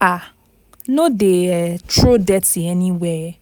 um No dey um throw dirty anywhere,